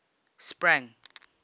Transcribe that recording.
sprang